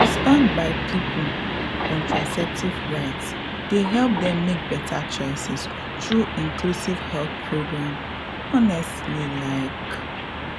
to stand by people contraceptive rights dey help them make better choices through inclusive health programs honestly like.